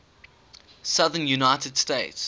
southern united states